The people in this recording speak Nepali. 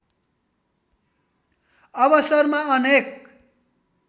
अवसरमा अनेक